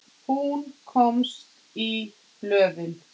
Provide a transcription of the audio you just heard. og heilaga kirkju